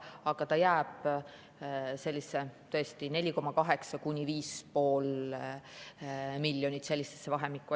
Aga see jääb vahemikku 4,8–5,5 miljonit eurot.